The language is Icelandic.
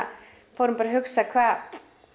fórum að hugsa hvaða